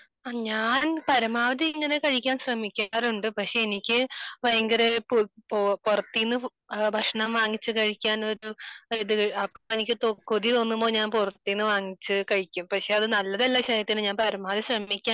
ഞാൻ പരമാവധി ഇങ്ങനെ കഴിക്കാൻ ശ്രമിക്കാറുണ്ട് പക്ഷെ എനിക്ക് ഭയങ്കര പുറത്തു നിന്ന് ഭക്ഷണം വാങ്ങി കഴിക്കാൻ ഒരു ഇത് അപ്പൊ എനിക്ക് കൊതി തോന്നുമ്പോൾ ഞാൻ പുറത്തു നിന്ന് വാങ്ങി കഴിക്കും . പക്ഷെ അത് നല്ലതല്ല ശരീരത്തിന് . ഞാൻ പരമാവധി ശ്രമിക്കാറുണ്ട്